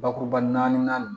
Bakuruba naani